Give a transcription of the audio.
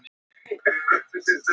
Fimm og hálfrar stundar tímamunur.